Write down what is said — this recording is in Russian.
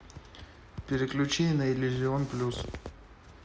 переключи на иллюзион плюс